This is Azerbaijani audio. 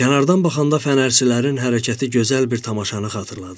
Kənardan baxanda fənərçilərin hərəkəti gözəl bir tamaşanı xatırladırdı.